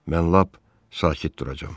Mən lap sakit duracağam.